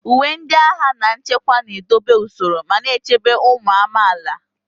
Uwe ndị agha na nchekwa na-edobe usoro ma na-echebe ụmụ amaala.